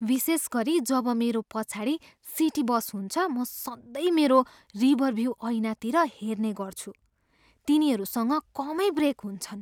विशेष गरी जब मेरो पछाडि सिटी बस हुन्छ, म सधैँ मेरो रियरभ्यु ऐनातिर हेर्ने गर्छु। तिनीहरूसँग कमै ब्रेक हुन्छन्।